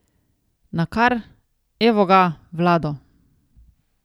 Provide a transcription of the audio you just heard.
Nakar, evo ga, Vlado ...